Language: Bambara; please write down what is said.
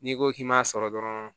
N'i ko k'i m'a sɔrɔ dɔrɔn